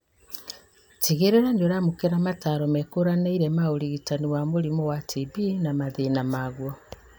Tigĩrĩra nĩũramũkĩra mataro mekũranĩire ma ũrigitani wa mũrimũ wa TB na mathĩna maguo